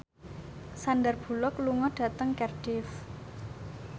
Sandar Bullock lunga dhateng Cardiff